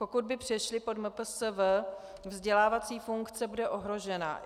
Pokud by přešly pod MPSV, vzdělávací funkce bude ohrožena.